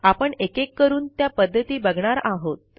आपण एकेक करून त्या पध्दती बघणार आहोत